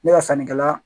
Ne ka sannikɛla